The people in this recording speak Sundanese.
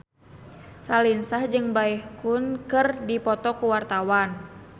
Raline Shah jeung Baekhyun keur dipoto ku wartawan